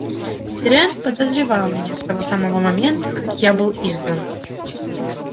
пиренн подозревал меня с того самого момента как я был избран